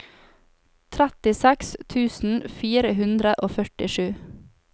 trettiseks tusen fire hundre og førtisju